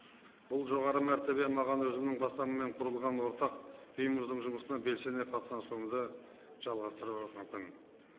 бұл жоғары мәртебе маған өзімнің бастауымен құрылған ортақ ұйымымыздың жұмысына белсене қатыса сонды жалғастыруға мүмкін